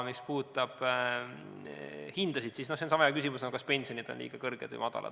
Mis puudutab aga hindasid, siis see on sama hea küsimus nagu see, kas pensionid on liiga kõrged või madalad.